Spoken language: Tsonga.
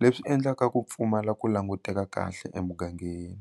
leswi endlaka ku pfumala ku languteka kahle emugangeni.